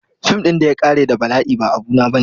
Fim ɗin da ya ƙare da bala'i ba abu na bane.